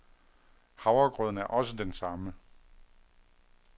Havregrøden er også den samme.